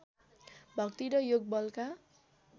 भक्ति र योगबलका